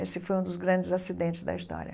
Esse foi um dos grandes acidentes da história.